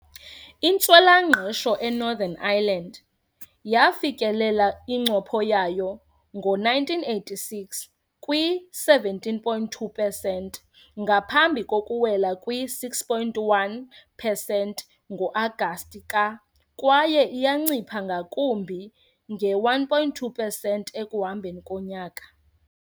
Intswela-ngqesho eNorthern Ireland yafikelela incopho yayo ngo-1986, kwi-17.2 pesenti, ngaphambi kokuwela kwi-6.1 pesenti ngo-Agasti ka- kwaye iyancipha ngakumbi nge-1.2 pesenti ekuhambeni konyaka.